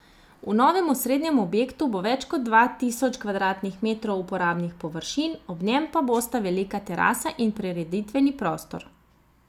V novem osrednjem objektu bo več kot dva tisoč kvadratnih metrov uporabnih površin, ob njem pa bosta velika terasa in prireditveni prostor.